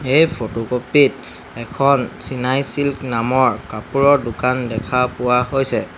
এই ফটোকপি ত এখন চিনাই ছিল্ক নামৰ কাপোৰৰ দোকান দেখা পোৱা হৈছে।